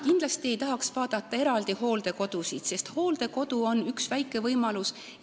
Kindlasti ei tahaks vaadata hooldekodusid eraldi, sest hooldekodu on ainult üks väike võimalus.